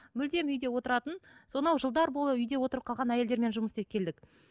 мүлдем үйде отыратын сонау жылдар бойы үйде отырып қалған әйелдермен жұмыс істеп келдік